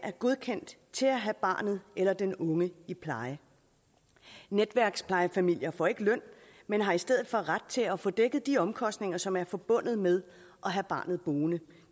er godkendt til at have barnet eller den unge i pleje netværksplejefamilier får ikke løn men har i stedet for ret til at få dækket de omkostninger som er forbundet med at have barnet boende